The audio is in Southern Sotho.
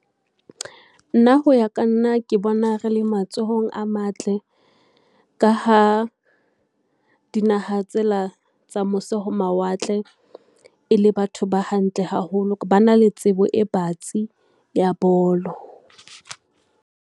Nna ho ya ka nna, ke bona re le matsohong a matle. Ka ha dinaha tsela tsa mose ho mawatle e le batho ba hantle haholo, ba na le tsebo e batsi ya bolo.